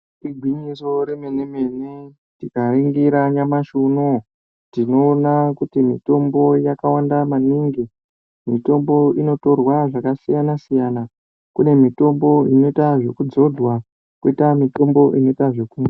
Igwinyiso remene mene tikaringira nyamashi unou tinoona kuti mitombo yakawanda maningi inotorwa zvakasiyana siyana kune mitombo inoita zvekudzodwa koita mitombo inoitwa zveku